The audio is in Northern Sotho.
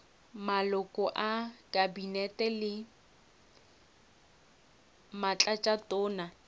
maloko a kabinete le batlatšatona